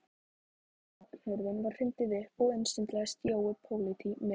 Ganghurðinni var hrundið upp og inn staulaðist Jói pólití með